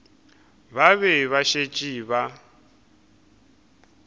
ba be ba šetše ba